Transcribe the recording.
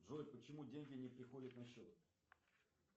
джой почему деньги не приходят на счет